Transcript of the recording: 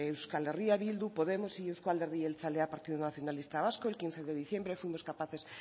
euskal herria bildu podemos y euzko alderdi jeltzalea partido nacionalista vasco el quince de diciembre fuimos capaces